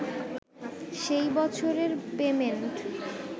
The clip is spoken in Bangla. সেই বছরের পেমেন্ট